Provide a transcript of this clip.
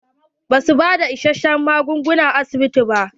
Ba su bada issashen magunguna a asibiti.